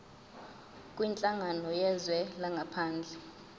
kwinhlangano yezwe langaphandle